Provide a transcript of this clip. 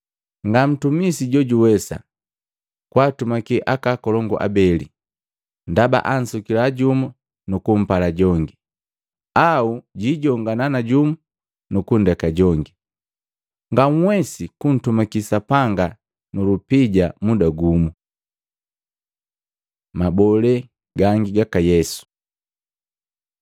“Nga ntumisi jojuwesa kwaatumaki aka akolongu abeli, ndaba ansukia jumu nukumpala jongi, au jijongana na jumu nukundeka jongi. Nganhwesi kuntumaki Sapanga nu lupija muda gumu.” Mabole gangi gaka Yesu Matei 11:12-13; 5:31-32; Maluko 10:11-12